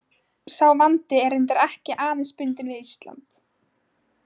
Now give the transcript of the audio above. Sá vandi er reyndar ekki aðeins bundinn við Ísland.